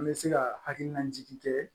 An bɛ se ka hakilina jigin kɛ